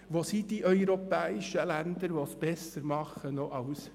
Wo sind die europäischen Länder, die es besser machen als wir?